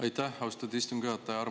Aitäh, austatud istungi juhataja!